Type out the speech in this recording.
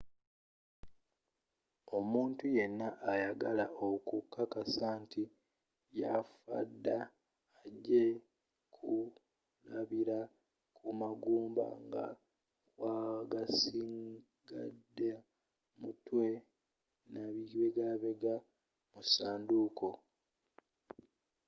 omuntu yenna ayagala okukakasa nti yafadda ajja kulabila kumagumba nga wasigade mutwe nabibegabega mu sanduuko